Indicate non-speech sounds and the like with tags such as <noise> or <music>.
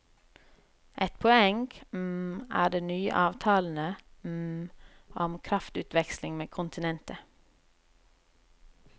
Et poeng <hesitation> er de nye avtalene <hesitation> om kraftutveksling med kontinentet.